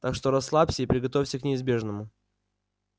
так что расслабься и приготовься к неизбежному